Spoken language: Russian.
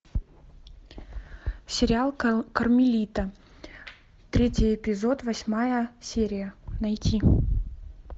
сериал кармелита третий эпизод восьмая серия найти